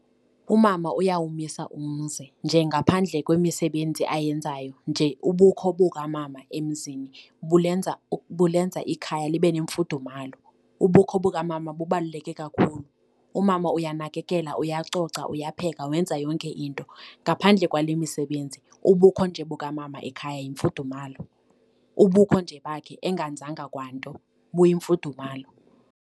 Umama uyawumisa umzi nje ngaphandle kwemisebenzi ayenzayo nje ubukho bukamama emzini bulenza bulenza ikhaya libe nemfudumalo, ubukho bukamama bubaluleke kakhulu. Umama uyanakekela, uyacoca, uyapheka, wenza yonke into. Ngaphandle kwale misebenzi ubukho nje bukamama ekhaya yimfudumalo, ubukho nje bakhe engenzanga kwanto buyimfudumalo.